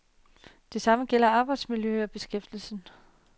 Det samme gælder arbejdsmiljøet og beskæftigelsen.